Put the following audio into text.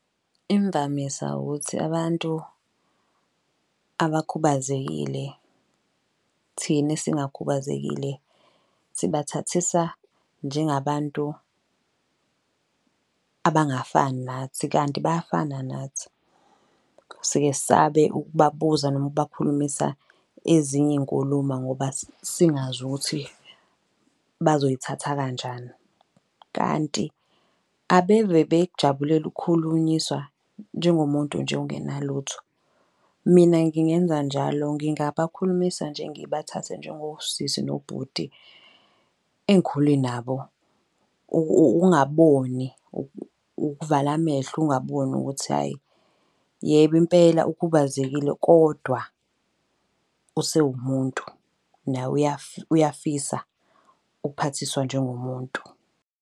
Imvamisa ukuthi abantu abakhubazekile thina esingakhubazekile, sibathathisa njenga abantu abangafani nathi kanti bayafana nathi. Sike sabe ukubabuza noma ukubakhulumisa ezinye inkuluma ngoba singazi ukuthi bazoyithatha kanjani. Kanti abeve bekujabulela ukukhulunyiswa njengomuntu nje ongenalutho. Mina ngingenza njalo, ngingabakhulumisa nje ngibathathe njengosisi nobhuti engikhule nabo. Ungaboni ukuvala amehlo, ungaboni ukuthi, hhayi yebo impela ukhubazekile kodwa usewumuntu nawe uyafisa ukuphathiswa njengo muntu.